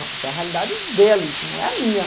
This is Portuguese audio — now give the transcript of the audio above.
Não, isso é a realidade deles, não é a minha.